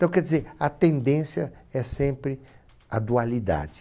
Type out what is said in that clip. Então, quer dizer, a tendência é sempre a dualidade.